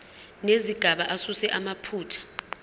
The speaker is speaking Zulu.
nezigaba asuse amaphutha